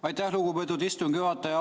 Aitäh, lugupeetud istungi juhataja!